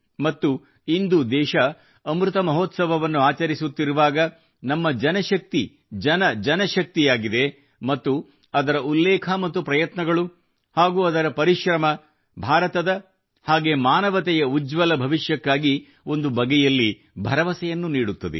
ಮತ್ತು ಇಂದು ದೇಶವು ಅಮೃತ ಮಹೋತ್ಸವವನ್ನು ಆಚರಿಸುತ್ತಿರುವಾಗ ನಮ್ಮ ಜನಶಕ್ತಿ ಜನ ಜನಶಕ್ತಿಯಾಗಿದೆ ಮತ್ತು ಅದರ ಉಲ್ಲೇಖ ಮತ್ತು ಪ್ರಯತ್ನಗಳು ಹಾಗೂ ಅದರ ಪರಿಶ್ರಮ ಭಾರತದ ಹಾಗೂ ಮಾನವತೆಯ ಉಜ್ವಲ ಭವಿಷ್ಯಕ್ಕಾಗಿ ಒಂದು ಬಗೆಯಲ್ಲಿ ಭರವಸೆಯನ್ನು ನೀಡುತ್ತದೆ